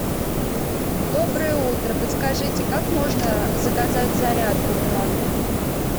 доброе утро подскажите как можно заказать зарядку в номер